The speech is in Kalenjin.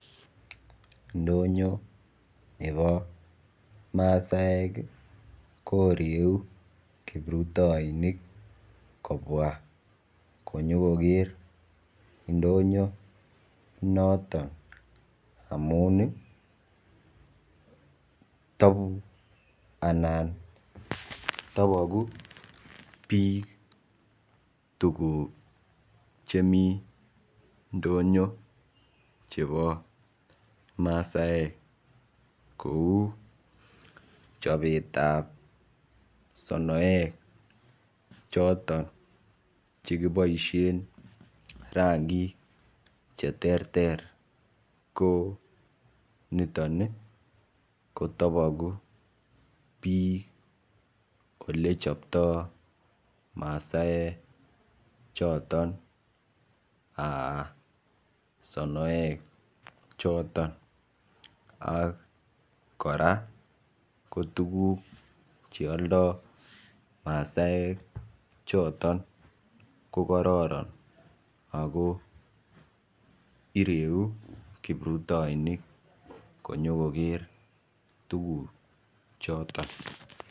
Ndonyo nebo masaek koreu kiprutoinik kobwa konyokoger indonyo noton amun iih tobu anan toboku bik tukuk chemi ndonyo chebo masaek kou chobetab sonoek chotok che kiboisien rangik che terter ko niton iih kotobogu bik olechobto masaek choton aah sonoek choton ak korak ko tukuk che oldo masaek chotok ko kororon ago ireu kiprutoinik konyokoger tuguchoton.